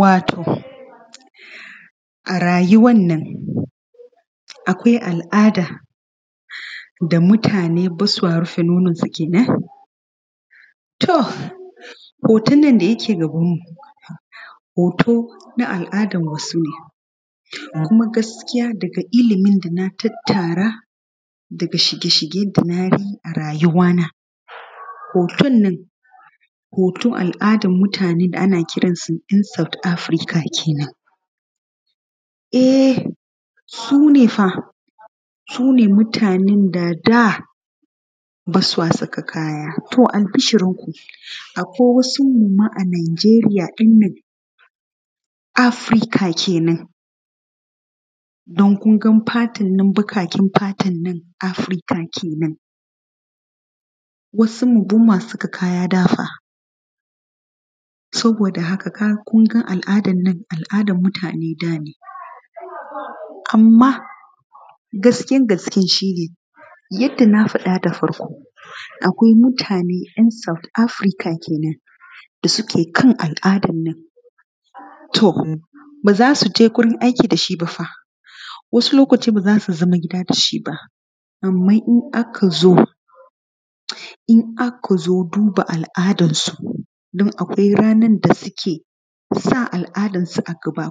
Wato a rayuwan nan akwai al’ada da mutane ba sa rufe nononsu kenan. To, hoton nan da yake gabanmu hoto na al’adan wasu ne kuma gaskiya daga ilimin dana tattara daga shige-shige da na yi a rayuwana. Hoton nan hoton al’adan mutane da ana kiransu in south Africa kenan ee su ne fa su ne mutanen da a da ba sa saka kaya, albishirinku akwai wasunsu ma a Najeriya ɗin nan Afrika kenan don kun ga fatan nan baƙaƙen fatannan Afrika kenan wasunmu kaya dafa saboda haka kun ga al’adannan, al’adan mutanen da ne anma gaskiyan zancen shi ne yanda na faɗa da farko akwai mutane ‘yan cs] south Afrika kenan da suke kan al’adan nan to ba za su je wajen aiki da shi ba wasu lokaci ba za su yi zaman gida da shi ba anman in aka zo duba al’adansu don akwai rana da suke sa al’adansu a gaba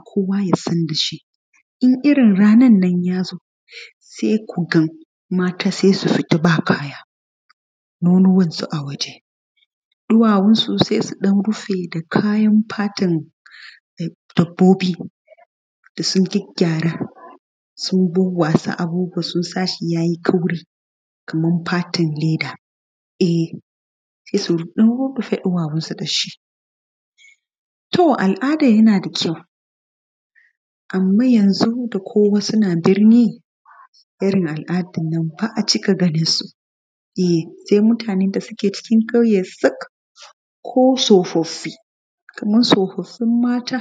in irin ranannan yazo se kuga matan sais u fita ba kaya nonowansu a waje ɗuwawunsu sai surufe da kayan fatan dabbobi da sun gyagygyara sun fefesa shi sunsashi yayi taushi kaman fatan leda ee se su ɗan rufe ɗuwawunsu dashi to al’adan yanda kyau anman yanzo wasu suna ganin irin al’adannan ba a cika ganinsu ee se mutanen da suke cikin ƙauye sak ko tsofaffi kaman tsofaffin mata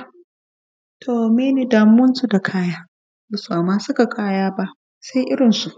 menene damuwansu da kaya bamasa saka kaya sai irinsu.